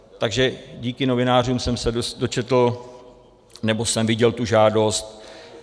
Takže díky novinářům jsem se dočetl, nebo jsem viděl tu žádost.